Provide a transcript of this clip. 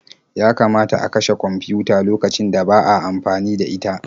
Yakamata a kashe kwamfiyuta lokacin da ba a amfani da ita.